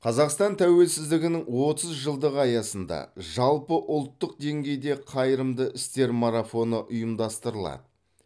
қазақстан тәуелсіздігінің отыз жылдығы аясында жалпыұлттық деңгейде қайырымды істер марафоны ұйымдастырылады